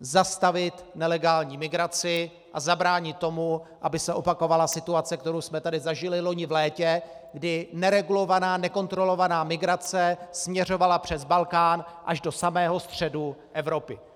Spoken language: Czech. zastavit nelegální migraci a zabránit tomu, aby se opakovala situace, kterou jsme tady zažili loni v létě, kdy neregulovaná, nekontrolovaná migrace směřovala přes Balkán až do samého středu Evropy.